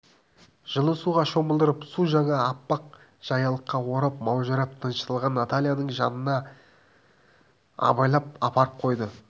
жылы суға шомылдырып су жаңа аппақ жаялыққа орап маужырап тынышталған натальяның жанына абайлап апарып қойды